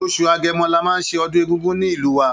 Oṣù Agẹmọ la máa ṣe ọdún Egúngún ní ìlú wa.